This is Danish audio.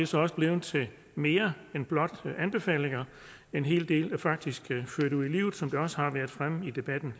så også blevet til mere end blot anbefalinger en hel del er faktisk ført ud i livet som det også har været fremme i debatten